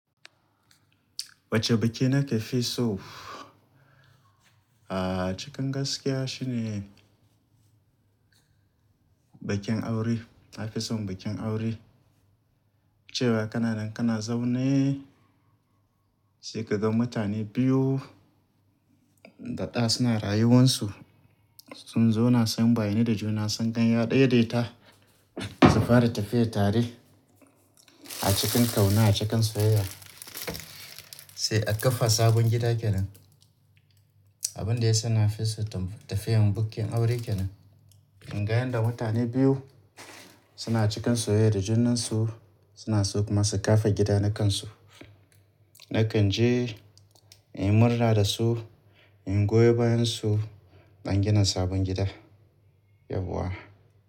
Wacce biki nake fi so, cikin gaskiya shine bakin aure. Na fi son bakin aure, cewa kana nan kana zaune sai ka ga mutane biyu daɗa suna rayuwansu. Sun zauna sun bayyane da juna, sun dan daidaita, su fara tafiye tare a cikin ƙauna a cikin soyayya sai aka kafa sabon gida ke nan. Abin da yasa na fi so tafiyan bakin aure ke nan. Inga yanda mutane biyu suna cikin soyayya da junansu, suna so kuma su kafa gida na kansu. Nakan je in murna da su, in goyo bayansu ɗan gina sabon gida yauwa.